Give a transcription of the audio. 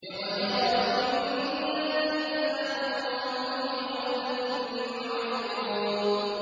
اقْتَرَبَ لِلنَّاسِ حِسَابُهُمْ وَهُمْ فِي غَفْلَةٍ مُّعْرِضُونَ